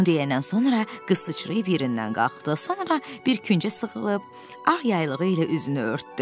Bunu deyəndən sonra qız sıçrayıb yerindən qalxdı, sonra bir küncə sığınıb ağ yaylığı ilə üzünü örtdü.